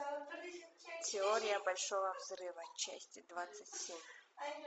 теория большого взрыва часть двадцать семь